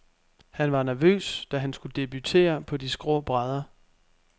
Han var nervøs, da han skulle debutere på de skrå brædder.